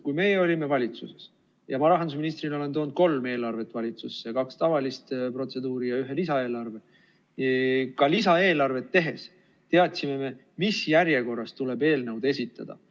Kui meie olime valitsuses – ma rahandusministrina olen toonud kolm eelarvet valitsusse, kaks tavalist protseduuri ja ühe lisaeelarve –, siis ka lisaeelarvet tehes teadsime me, mis järjekorras tuleb eelnõud esitada.